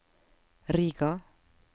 Riga